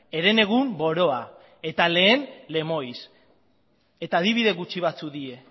herenegun boroa eta lehen lemoiz eta adibide gutxi batzuk dira